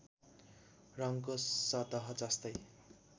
रङ्गको सतह जस्तै